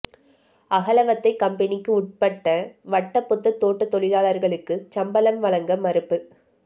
அகலவத்தை கம்பனிக்கு உட்பட்ட வட்டபொத்த தோட்டத் தொழிளார்களுக்கு சம்பளம் வழங்க மறுப்பு